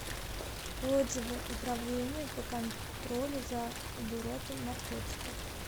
отзывы управление по контролю за оборотом наркотиков